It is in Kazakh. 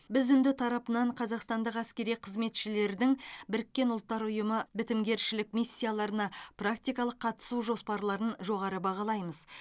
біз үнді тарапынан қазақстандық әскери қызметшілердің біріккен ұлттар ұйымы бітімгершілік миссияларына практикалық қатысу жоспарларын жоғары бағалаймыз